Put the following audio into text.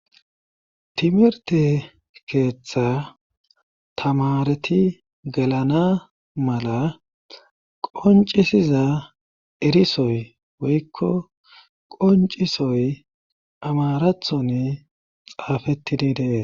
timerte keeththa tamareti gelana mala qoncisiza erisoy woykko qoncisoy amarathon xaafettidi deee